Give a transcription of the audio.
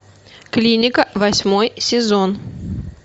клиника восьмой сезон